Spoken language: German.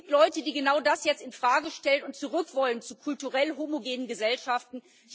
Es gibt Leute, die genau das jetzt in Frage stellen und zurück wollen zu kulturell homogenen Gesellschaften.